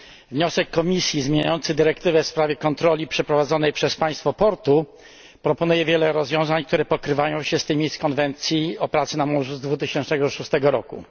Wniosek Komisji zmieniający dyrektywę w sprawie kontroli przeprowadzanej przez państwo portu proponuje wiele rozwiązań, które pokrywają się z tymi z konwencji o pracy na morzu z 2006 roku.